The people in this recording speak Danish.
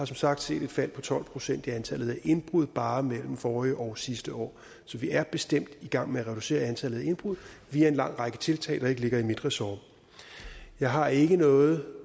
som sagt sket et fald på tolv procent i antallet af indbrud bare mellem forrige og sidste år så vi er bestemt i gang med at reducere antallet af indbrud via en lang række tiltag der ikke ligger i mit ressort jeg har ikke noget